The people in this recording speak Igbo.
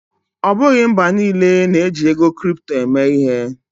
Ọ bụghị mba niile na-eji ego kripto eme ihe.